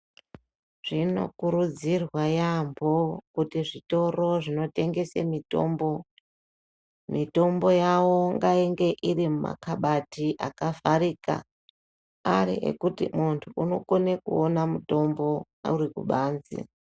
Zvinokurudzirwa yaamho kuti kuti zvitoro zvinotengesa mitombo, mitombo yavo ngainge iri mumakhabati akavharika, ari ekuti muntu unokona kuona mutombo uri kubanze.